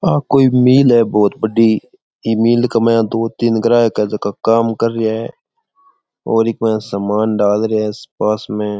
ये कोई मिल है बहुत बड़ी ये मिल के माये दो तीन ग्राहक काम कर रहे है और सामान डाल रहा है पास में --